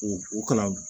U u kana